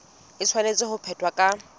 e tshwanetse ho phethwa ka